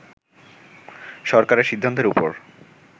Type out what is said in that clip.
সরকারের সিদ্ধান্তের উপর